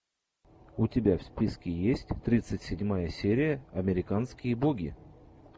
у тебя в списке есть тридцать седьмая серия американские боги